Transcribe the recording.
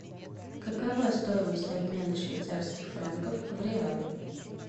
какова стоимость обмена швейцарских франков в реалы